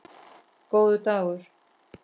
Góður dagur